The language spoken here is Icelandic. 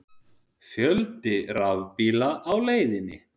Fjöldi rafbíla á leiðinni